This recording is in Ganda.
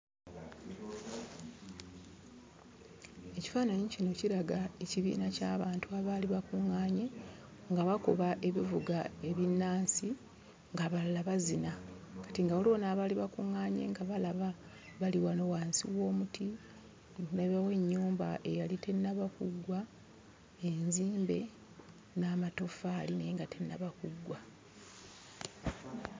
Ekifaananyi kino kiraga ekibiina ky'abantu abaali bakuŋŋaanye nga bakuba ebivuga ebinnansi ng'abalala bazina. Kati nga waliwo n'abaali bakuŋŋaanye nga balaba, bali wano wansi w'omuti, ndabawo ennyumba eyali tennaba kuggwa, enzimbe n'amatoffaali naye nga tennaba kuggwa.